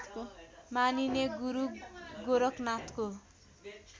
मानिने गुरु गोरखनाथको